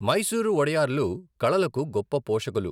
మైసూరు వోడయార్లు కళలకు గొప్ప పోషకులు.